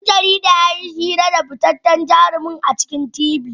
Dan jaridar yayi hira da fitaccen jarumin a shirin T.V